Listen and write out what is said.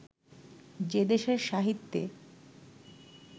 যে দেশের সাহিত্যে